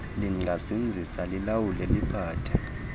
lingazinzisa lilawule liphathe